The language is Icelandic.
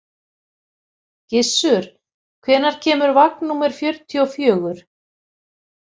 Gissur, hvenær kemur vagn númer fjörutíu og fjögur?